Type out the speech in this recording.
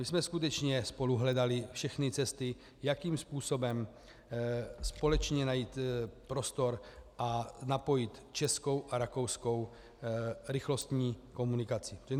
My jsme skutečně spolu hledali všechny cesty, jakým způsobem společně najít prostor a napojit českou a rakouskou rychlostní komunikaci.